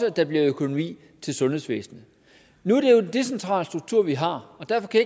at der bliver økonomi til sundhedsvæsenet nu er det jo en decentral struktur vi har og derfor kan